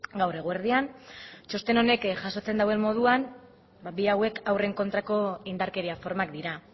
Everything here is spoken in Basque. gaur eguerdian txosten honek jasotzen duen moduan bi hauek haurren kontrako indarkeria formak dira